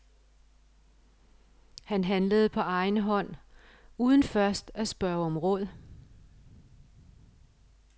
Han handlede på egen hånd uden først at spørge om råd.